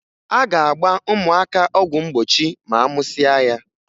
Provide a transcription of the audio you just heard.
A ga-agba ụmụaka ọgwụ mgbochi ma a mụsịa ya.